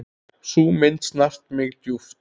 Sú mynd snart mig djúpt.